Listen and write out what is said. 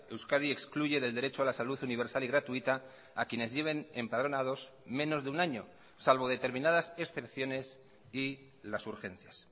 euskadi excluye del derecho a la salud universal y gratuita a quienes lleven empadronados menos de un año salvo determinadas excepciones y las urgencias